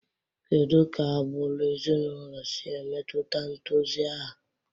Kedu ka agbụrụ ezinụlọ si emetụta ntozu aha?